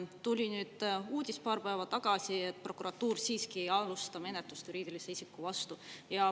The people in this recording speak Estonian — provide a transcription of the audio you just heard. Tuli uudis paar päeva tagasi, et Prokuratuur siiski ei alusta menetlust juriidilise isiku vastu.